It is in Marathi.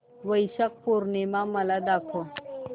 वैशाख पूर्णिमा मला दाखव